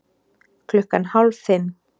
Klukkan hálf fimm